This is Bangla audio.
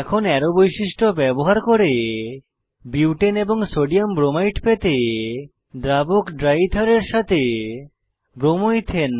এখন অ্যারো বৈশিষ্ট্য ব্যবহার করে বিউটেন এবং সোডিয়াম ব্রোমাইড পেতে দ্রাবক ড্রাই ইথারের সাথে ব্রোমো ইথেন